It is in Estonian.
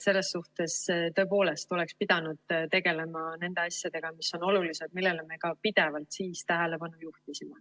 Selles suhtes tõepoolest oleks pidanud tegelema nende asjadega, mis on olulised, millele me ka pidevalt siis tähelepanu juhtisime.